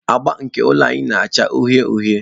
Agba nke ụlọ anyị na-acha uhie uhie.